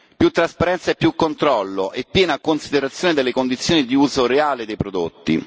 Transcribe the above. più trasparenza e più controllo e piena considerazione delle condizioni di uso reale dei prodotti